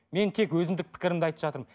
мен тек өзіндік пікірімді айтып жатырмын